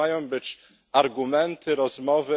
Czy to mają być argumenty, rozmowy?